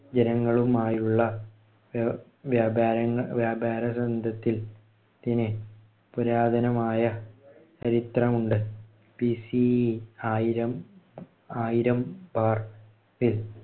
ജനങ്ങളുമായുള്ള വ്യാ~ വ്യാപാര വ്യാപാരന്ധത്തില്‍ ത്തിന് പുരാതനമായ ചരിത്രമുണ്ട്. BCE ആയിരം. ആയിരം bar ൽ